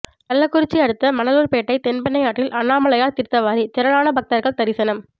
கள்ளக்குறிச்சி அடுத்த மணலூர்பேட்டை தென்பெண்ணை ஆற்றில் அண்ணாமலையார் தீர்த்தவாரி திரளான பக்தர்கள் தரிசனம்